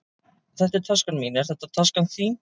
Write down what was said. Þetta er taskan mín. Er þetta taskan þín?